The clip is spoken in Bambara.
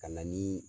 Ka na ni